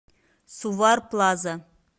сувар плаза